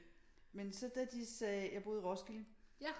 Men så da de sagde jeg boede i Roskilde